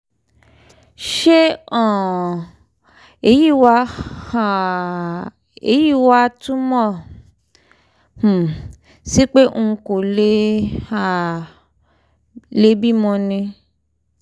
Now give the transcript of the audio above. ṣé um èyí wá um èyí wá túmọ̀ um sí pé n kò um lè bímọ ni?